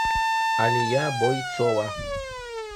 алия бойцова